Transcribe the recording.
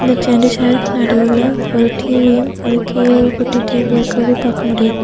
இந்த ரெண்டு சேருக்கு நடுவுல ஒரு டிவியும் அதுக்கு கீழ ஒரு குட்டி டேபிளும் இருக்குறத பார்க்க முடியுது.